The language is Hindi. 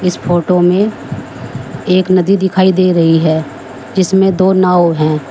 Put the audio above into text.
इस फोटो में एक नदी दिखाई दे रही है जिसमें दो नाव है।